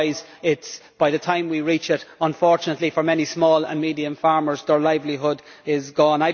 Otherwise, by the time we reach it unfortunately for many small and medium farmers their livelihood is gone.